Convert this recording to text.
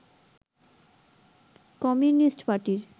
communist পার্টির